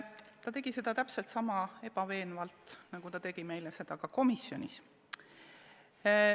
Ta tegi seda siin sama ebaveenvalt nagu komisjonis.